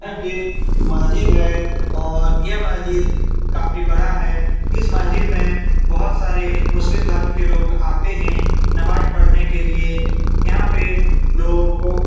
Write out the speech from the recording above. यह एक मस्जिद है और यह मस्जिद काफी बड़ा है इस मस्जिद में बहोत सारे मुस्लिम धर्म के लोग आते हैं नमाज पढ़ने के लिए यहाँ पे लोगो --